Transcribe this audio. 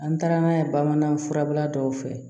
An taara n'a ye bamanan furabula dɔw fɛ